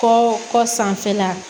Kɔ kɔ sanfɛla